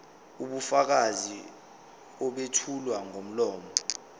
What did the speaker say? ubufakazi obethulwa ngomlomo